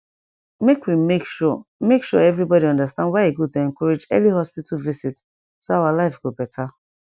make we make sure make sure everybody understand why e good to encourage early hospital visit so our life go better